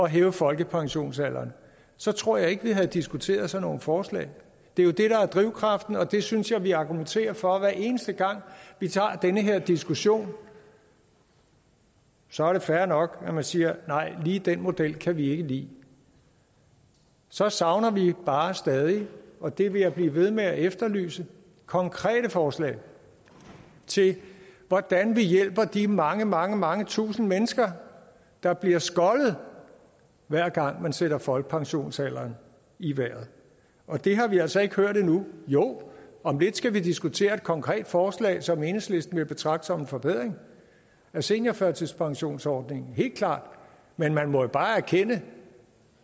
hæve folkepensionsalderen så tror jeg ikke vi havde diskuteret sådan nogle forslag det er det der er drivkraften og det synes jeg at vi argumenterer for hver eneste gang vi tager den her diskussion så er det fair nok at man siger nej lige den model kan vi ikke lide så savner vi bare stadig og det vil jeg blive ved med at efterlyse konkrete forslag til hvordan vi hjælper de mange mange mange tusind mennesker der bliver skoldet hver gang man sætter folkepensionsalderen i vejret og det har vi altså ikke hørt endnu jo om lidt skal vi diskutere et konkret forslag som enhedslisten vil betragte som en forbedring af seniorførtidspensionsordningen helt klart men man må bare erkende